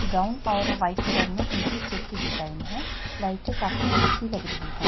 Brown और white colour में इनकी चेक में डिजाइन है लाइटे काफी अच्छी लग रही है।